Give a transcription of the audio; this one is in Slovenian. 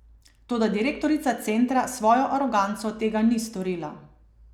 Toda direktorica centra s svojo aroganco tega ni storila.